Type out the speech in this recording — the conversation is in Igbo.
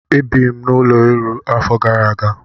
E biirim n'ụlọ elu afọ gara aga.